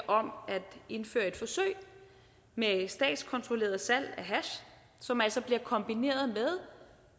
om at indføre et forsøg med statskontrolleret salg af hash som altså bliver kombineret med